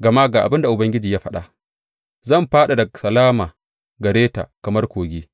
Gama ga abin da Ubangiji ya faɗa, Zan fadada salama gare ta kamar kogi,